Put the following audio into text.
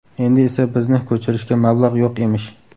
Endi esa bizni ko‘chirishga mablag‘ yo‘q emish.